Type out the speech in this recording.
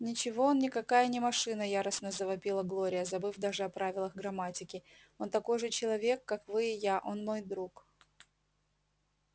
ничего он никакая не машина яростно завопила глория забыв даже о правилах грамматики он такой же человек как вы и я и он мой друг